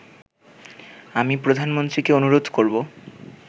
আমি প্রধানমন্ত্রীকে অনুরোধ করবো